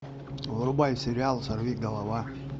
врубай сериал сорвиголова